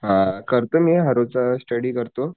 आ करतो मी हर रोजचा स्टडी करतो